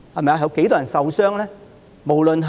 有多少人會受傷呢？